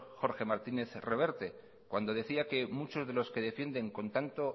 jorge martínez reverte cuando decía que muchos de los que defienden con tanto